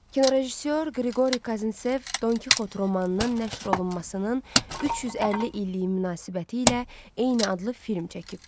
Kinorejissor Qriqori Kazintsev Don Kixot romanının nəşr olunmasının 350 illiyi münasibətilə eyni adlı film çəkib.